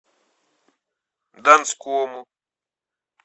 донскому